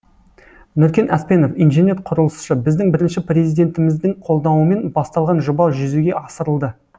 нүркен аспенов инженер құрылысшы біздің бірінші президентіміздің қолдауымен басталған жоба жүзеге асырылды